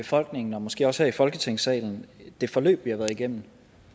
befolkningen og måske også her i folketingssalen det forløb vi har været igennem